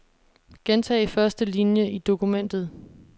Gentag første linie i dokumentet.